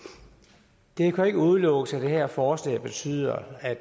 det kan jo ikke udelukkes at det her forslag betyder at